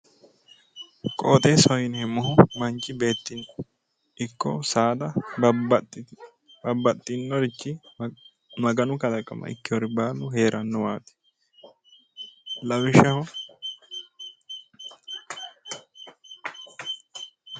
Qoixeessaho yineemmohu manchi beettira ikko saada babbaxxinnorichi Maganu kalaqama ikkewoori baalu heerannowaati lawishshaho.